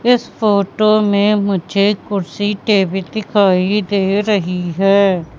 इस फोटो में मुझे कुर्सी टेबल दिखाई दे रही है।